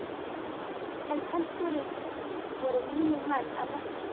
En kannski voru mínir menn að verki?